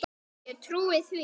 Ég trúði því.